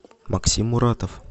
максим муратов